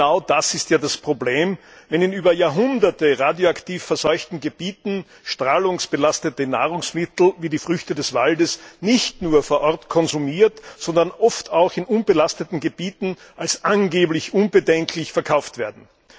Genau das ist ja das Problem, wenn in über Jahrhunderte radioaktiv verseuchten Gebieten strahlungsbelastete Nahrungsmittel wie die Früchte des Waldes nicht nur vor Ort konsumiert, sondern oft auch in unbelasteten Gebieten als angeblich unbedenklich verkauft werden.